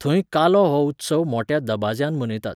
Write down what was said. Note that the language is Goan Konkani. धंय कालो हो उत्सव मोठ्या दबाज्यान मनयतात.